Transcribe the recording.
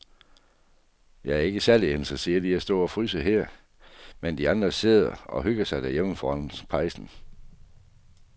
Jeg er ikke særlig interesseret i at stå og fryse her, mens de andre sidder og hygger sig derhjemme foran pejsen.